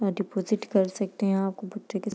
यहां डिपॉजिट कर सकते हैं यहां आपको --